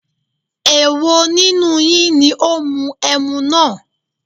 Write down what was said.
Èwo nínú yín ní ó mu ẹmu náà?